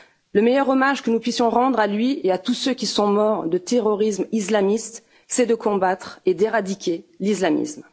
Le meilleur hommage que nous puissions rendre à lui et à tous ceux qui sont morts de terrorisme islamiste, c'est de combattre et d'éradiquer l'islamisme.